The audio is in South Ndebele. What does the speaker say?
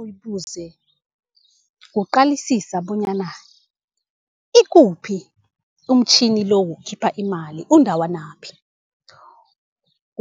uyibuze kuqalisisa bonyana ikuphi umtjhini lo wokukhipha imali undawanaphi.